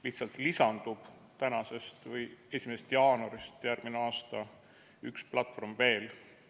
Lihtsalt lisandub 1. jaanuarist järgmisel aastal üks platvorm veel.